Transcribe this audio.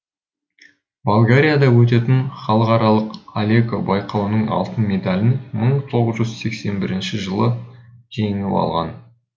болгарияда өтетін халықаралық алеко байқауының алтын медалін мың тоғыз жүз сексен бірінші жылы жеңіп алған